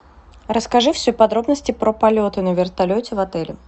расскажи все подробности про полеты на вертолете в отеле